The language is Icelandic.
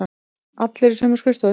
Allir á sömu skrifstofu.